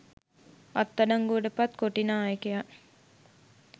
අත්අඩංගුවට පත් කොටි නායකයා